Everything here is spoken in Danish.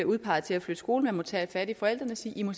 udpeges til at flytte skole man må tage fat i forældrene og sige i må